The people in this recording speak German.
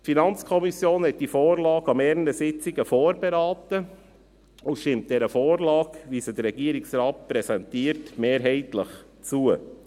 Die FiKo hat die Vorlage an mehreren Sitzungen vorberaten und stimmt der Vorlage, wie sie der Regierungsrat präsentiert, mehrheitlich zu.